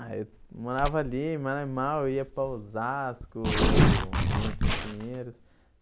Ah, eu morava ali em Maranimal, ia para Osasco, vinha aqui em Pinheiros.